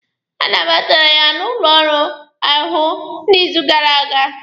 A nabatara ya n'ụlọ ọrụ ahụ n'izu gara aga.